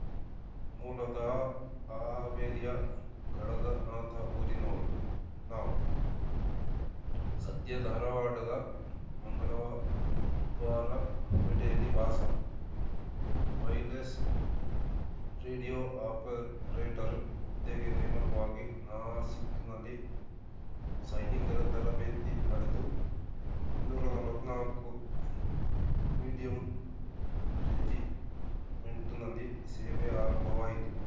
ಮೂಲತಃ ಹಾವೇರಿಯ ಗಳಗನಾಥ ಊರಿನವರು ನಾವು ಸದ್ಯ ಧಾರವಾಡದ ಮಂಗಳವಾರಪೇಟೆಯಲ್ಲಿ ವಾಸ ವೈರ್‌ಲೆಸ್‌ ರೇಡಿಯೋ ಆಪರೇಟರ್‌ ಹುದ್ದೆಗೆ ನೇಮಕನಾಗಿ ನಾಸಿಕ್‌ನಲ್ಲಿ ಸೈನಿಕರ ತರಬೇತಿ ಪಡೆದು ಇನ್ನೂರ ನಲವತ್ತ್ನಾಲ್ಕುಮೀಡಿಯಂ ರೆಜಿಮೆಂಟ್‌ನಲ್ಲಿ ಸೇವೆ ಆರಂಭವಾಯಿತು